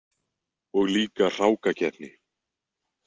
Og líka hrákakeppni.